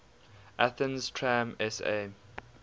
athens tram sa